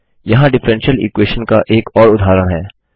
यहाँ differential equation का एक और उदाहरण है